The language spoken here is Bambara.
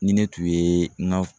Ni ne tun yee n ga